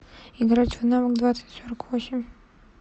играть в навык двадцать сорок восемь